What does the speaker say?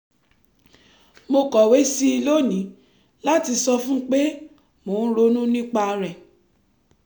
mo kọ̀wé sí i lónìí láti sọ fún un pé mo ń ronú nípa rẹ̀